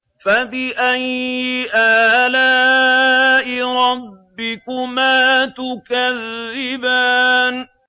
فَبِأَيِّ آلَاءِ رَبِّكُمَا تُكَذِّبَانِ